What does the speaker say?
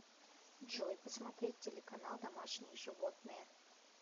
джой посмотреть телеканал домашние животные